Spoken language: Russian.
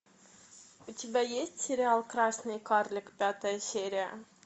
у тебя есть сериал красный карлик пятая серия